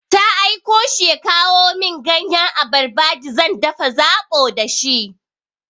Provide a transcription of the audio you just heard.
Ta aiko shi ya kawo min ganyan abarba d zan dafa zaɓo da shi.